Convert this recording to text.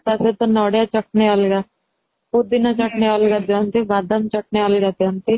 ତା ସହିତ ନଡିଆ ଚଟାଣି ଅଲଗା ପୋଦିନା ଚଟାଣି ଅଲଗା ଦିଅନ୍ତି ବାଦାମ ଚଟାଣି ଅଲଗ ଦିଅନ୍ତି